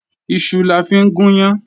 Iṣu la fi ń gùn yán